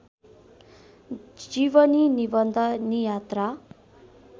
जीवनी निबन्ध नियात्रा